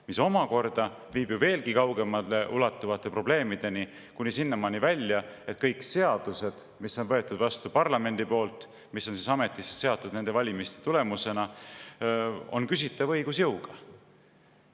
Mis omakorda viib ju veelgi kaugemale ulatuvate probleemideni, kuni sinnamaani välja, et kõik seadused, mis on võetud vastu parlamendi poolt, mis on ametisse seatud niisuguste valimiste tulemusena, on küsitava õigusjõuga.